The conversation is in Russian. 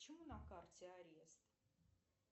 почему на карте арест